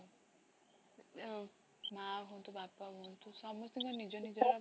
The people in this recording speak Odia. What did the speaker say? ଅ ମାଁ ହୁଅନ୍ତୁ ବାପା ହୁଅନ୍ତୁ ସମସ୍ତଙ୍କ ନିଜ ନିଜର